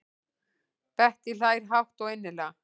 Bettý hlær hátt og innilega.